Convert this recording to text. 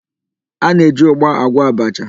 A na-eji ụgba agwọ abacha.